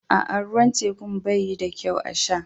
Aa, ruwan tekun banyi da kyau a sha.